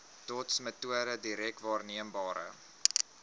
dotsmetode direk waarneembare